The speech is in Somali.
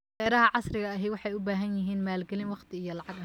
Beeraha casriga ahi waxay u baahan yihiin maalgalin waqti iyo lacag ah.